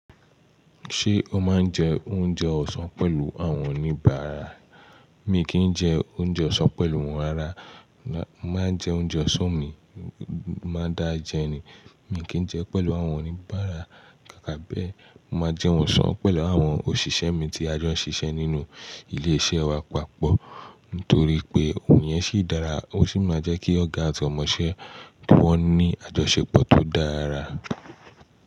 Ṣé o máa ń jẹ oúnjẹ ọ̀sán pẹ̀lú àwọn oníbàárà? Mi kì í jẹ oúnjẹ ọ̀sán pẹ̀lú wọn rará, mo màá n jẹ oúnjẹ ọ̀sán mi, máa dà á jẹ ni, mi kì í jẹ pẹ̀lú àwọn oníbàárà. Kàkà bẹ́ẹ̀, mo máa jẹun ọ̀sán pẹ̀lú àwọn òṣìṣẹ́ mi tí a jọ ń ṣiṣẹ́ nínú ilé-iṣẹ́ wa papọ̀ nítorí pé òun yẹn ṣì dára, ó sì máa ń jẹ́ kí ọ̀gá àti ọmọṣẹ́ wọn ní àjọṣepọ̀ tó dára.